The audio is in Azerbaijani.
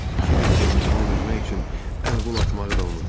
Kiber sevincindən üzmək üçün əl-qol atmağı da unutdu.